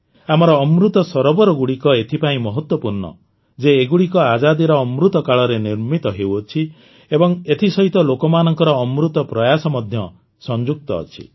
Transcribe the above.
ଆମର ଅମୃତ ସରୋବରଗୁଡ଼ିକ ଏଥିପାଇଁ ମହତ୍ତ୍ୱପୂର୍ଣ୍ଣ ଯେ ଏଗୁଡ଼ିକ ଆଜାଦିର ଅମୃତ କାଳରେ ନିର୍ମିତ ହେଉଛନ୍ତି ଏବଂ ଏଥିସହିତ ଲୋକମାନଙ୍କର ଅମୃତ ପ୍ରୟାସ ମଧ୍ୟ ସଂଯୁକ୍ତ ଅଛି